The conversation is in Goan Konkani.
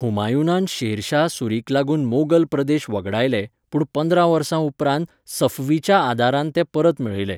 हुमायूनान शेरशाह सूरीक लागून मोगल प्रदेश वगडायले, पूण पंदरा वर्सां उपरांत सफवीच्या आदारान ते परत मेळयले.